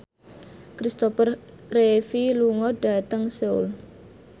Christopher Reeve lunga dhateng Seoul